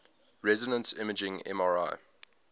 resonance imaging mri